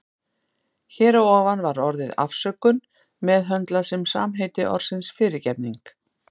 Hér að ofan var orðið afsökun meðhöndlað sem samheiti orðsins fyrirgefning.